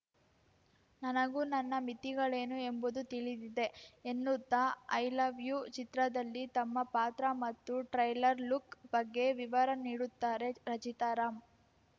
ನನಗೂ ನನ್ನ ಮಿತಿಗಳೇನು ಎಂಬುದು ತಿಳಿದಿದೆ ಎನ್ನುತ್ತಾ ಐ ಲವ್‌ ಯು ಚಿತ್ರದಲ್ಲಿ ತಮ್ಮ ಪಾತ್ರ ಮತ್ತು ಟ್ರೈಲರ್‌ ಲುಕ್‌ ಬಗ್ಗೆ ವಿವರ ನೀಡುತ್ತಾರೆ ರಚಿತಾರಾಮ್‌